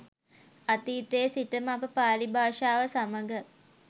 අතීතයේ සිටම අප පාලි භාෂාව සමඟ